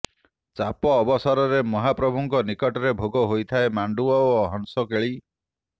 ଚାପ ଅବସରରେ ମହାପ୍ରଭୁଙ୍କ ନିକଟରେ ଭୋଗ ହୋଇଥାଏ ମାଣ୍ଡୁଅ ଓ ହଂସକେଳି